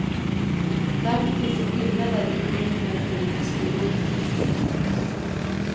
Därför finns det skillnader i behov mellan olika skolor.